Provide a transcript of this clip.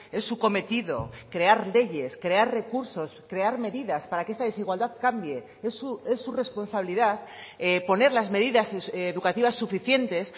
es su cometido crear leyes crear recursos crear medidas para que esta desigualdad cambie es su responsabilidad poner las medidas educativas suficientes